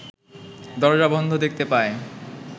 দরজা বন্ধ দেখতে পায়